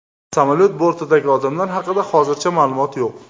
Samolyot bortidagi odamlar haqida hozircha ma’lumot yo‘q.